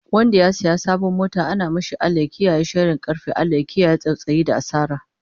Wanda ya saya sabon mota ana mashi Allah ya kiyaye sharin karfe, Allah ya kiyaye tsautsayi da asara